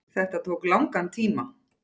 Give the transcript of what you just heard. Þetta tók langan tíma.